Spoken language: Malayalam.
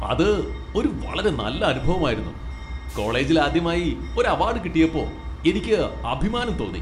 അത് ഒരു വളരെ നല്ല അനുഭവമായിരുന്നു, കോളേജിൽ ആദ്യമായി ഒരു അവാഡ് കിട്ടിയപ്പോ എനിക്ക് അഭിമാനം തോന്നി.